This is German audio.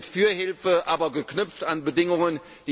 Wir sind für Hilfe, aber geknüpft an Bedingungen.